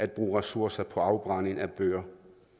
bruge ressourcer på afbrænding af bøger